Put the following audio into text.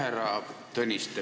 Härra Tõniste!